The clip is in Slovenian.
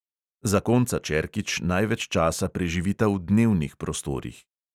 Zakonca čerkič največ časa preživita v dnevnih prostorih.